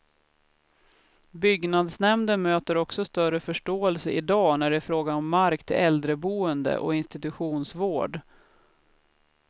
Byggnadsnämnden möter också större förståelse idag när det är fråga om mark till äldreboende och institutionsvård.